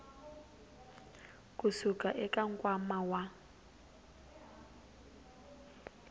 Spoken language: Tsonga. ku suka eka nkwama wa